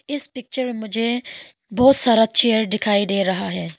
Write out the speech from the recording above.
इस पिक्चर में मुझे बहुत सारा चेयर दिखाई दे रहा है।